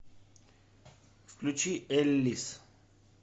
включи эллис